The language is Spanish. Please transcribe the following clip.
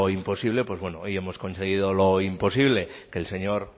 imposible pues bueno hoy hemos conseguido lo imposible que el señor